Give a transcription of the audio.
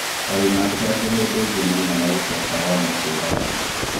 Arunaake angĩ hĩndĩĩngĩ mainaga gũcoka Rwanda kũragana.